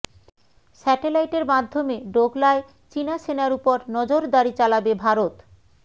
স্যাটেলাইটের মাধ্যমে ডোকলায় চিনা সেনার উপর নজরদারি চালাবে ভারত